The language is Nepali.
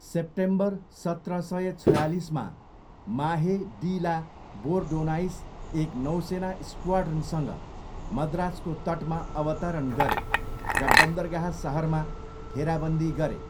सेप्टेम्बर सत्र सय छयालिसमा, माहे डी ला बोरडोनाइस एक नौसेना स्क्वाड्रनसँग मद्रासको तटमा अवतरण गरे र बन्दरगाह सहरमा घेराबन्दी गरे।